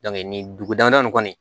nin dugu damana nin kɔni